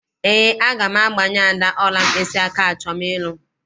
Eé, aga m agbanye Ada ọla mkpịsịaka achọm ịlụ.